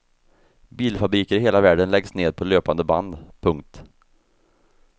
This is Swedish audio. Bilfabriker i hela världen läggs ned på löpande band. punkt